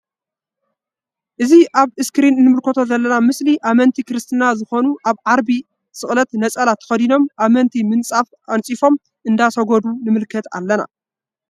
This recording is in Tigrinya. እዚ አብ እስክሪን እንምልከቶ ዘለና ምስሊ አመንቲ ክርስትና ዝኮኑ አብ ዓርቢ ስቅለት ነፀላ ተከዲኖም አመንቲ ምንፃፍ አኒፂፎም እንዳሰገዱ ንምልከት አለና::